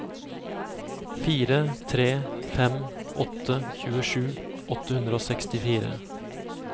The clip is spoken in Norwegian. fire tre fem åtte tjuesju åtte hundre og sekstifire